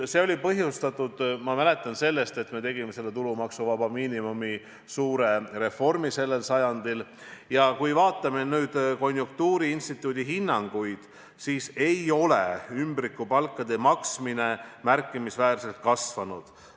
See oli põhjustatud, ma mäletan, sellest, et me tegime tulumaksuvaba miinimumi suure reformi sellel sajandil, ja kui me vaatame nüüd konjunktuuriinstituudi hinnanguid, siis ei ole ümbrikupalkade maksmine märkimisväärselt kasvanud.